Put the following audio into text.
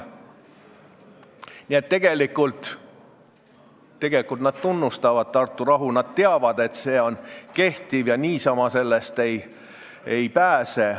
Nii et tegelikult nad tunnustavad Tartu rahu, nad teavad, et see on kehtiv ja niisama sellest ei pääse.